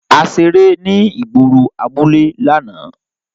A ṣere ni igboro abule làná.